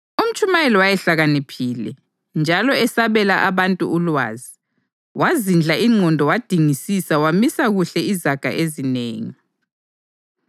UMtshumayeli wayehlakaniphile, njalo esabela abantu ulwazi. Wazidla ingqondo wadingisisa wamisa kuhle izaga ezinengi.